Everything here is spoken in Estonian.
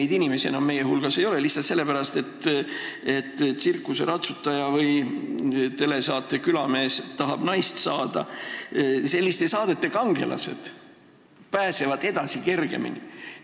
Neid inimesi enam siin saalis meie hulgas ei ole, lihtsalt sellepärast, et tsirkuse ratsutaja või selliste telesaadete nagu "Külamees tahab naist saada" kangelased pääsevad edasi kergemini.